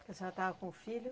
A senhora estava com filho?